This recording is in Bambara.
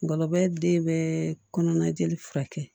Ngɔlɔbɛ den bɛɛ kɔnɔnajeli furakɛ